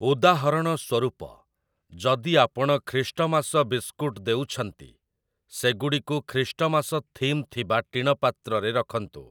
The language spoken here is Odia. ଉଦାହରଣ ସ୍ଵରୂପ, ଯଦି ଆପଣ ଖ୍ରୀଷ୍ଟମାସ ବିସ୍କୁଟ୍ ଦେଉଛନ୍ତି, ସେଗୁଡ଼ିକୁ ଖ୍ରୀଷ୍ଟମାସ ଥିମ୍ ଥିବା ଟିଣପାତ୍ରରେ ରଖନ୍ତୁ ।